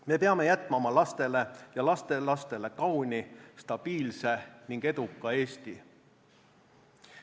Me peame jätma oma lastele ja lastelastele kauni, stabiilse ning eduka Eesti.